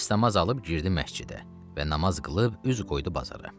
Dəstəmaz alıb girdi məscidə və namaz qılıb üz qoydu bazara.